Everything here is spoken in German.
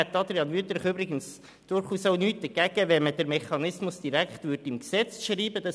Ich hätte, Grossrat Wüthrich, auch nichts dagegen, wenn man den Mechanismus direkt im Gesetz festschreiben würde.